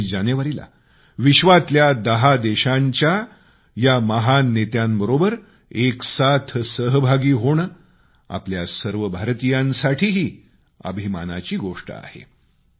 26 जानेवारीला जगातल्या 10 देशांच्या या महान नेत्यांबरोबर सहभागी होणे आपल्या सर्व भारतीयांसाठीही अभिमानाची गोष्ट आहे